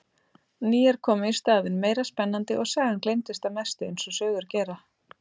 Nýjar komu í staðinn, meira spennandi, og sagan gleymdist að mestu eins og sögur gera.